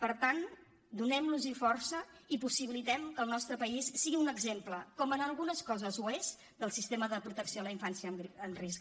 per tant donem los força i possibilitem que el nostre país sigui un exemple com en algunes coses ho és del sistema de protecció a la infància en risc